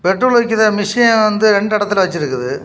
Petrol அடிக்கிற machine வந்து இரண்டு ஏடத்துல வச்சுருக்குது.